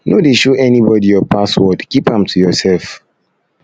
no dey show anybody your password keep am to yourself